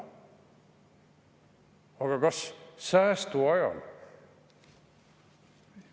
Aga kas säästuajal?